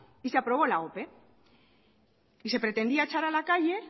y se aprobó la ope y se pretendía echar a la calle